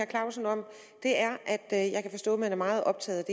clausen om er at jeg kan forstå at man er meget optaget